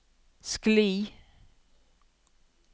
skli